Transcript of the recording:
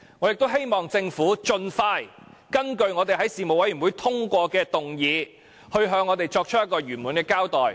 我亦希望政府盡快根據我們在事務委員會通過的議案，向我們作出圓滿的交代。